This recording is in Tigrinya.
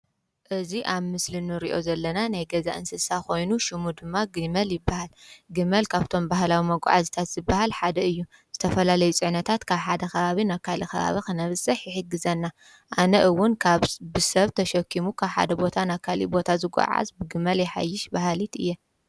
እዙ ኣብ ምስል ኖርእዮ ዘለና ነይ ገዛ እንስሳ ኾይኑ ሹሙ ድማ ግመል ይበሃል ግመል ካብቶም ባህላዊ መጕዓ ዝታሲበሃል ሓደ እዩ ዝተፈላለይ ጸዕነታት ካብ ሓደ ኽባብ ኣካኢል ኸባባ ኽነፍስሕ ይሒትግዘና ኣነ እውን ካብ ብሰብ ተሸኪሙ ካብ ሓደ ቦታ ናካል ቦታ ዝጐዓዝ ብግመል የሓይሽ በሃልድ እየ።